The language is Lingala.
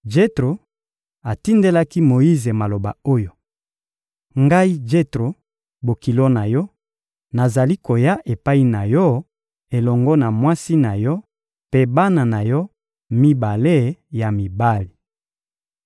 Jetro atindelaki Moyize maloba oyo: — Ngai Jetro, bokilo na yo, nazali koya epai na yo elongo na mwasi na yo mpe bana na yo mibale ya mibali.